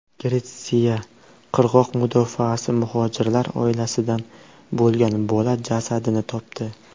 Gretsiya qirg‘oq mudofaasi muhojirlar oilasidan bo‘lgan bola jasadini topdi.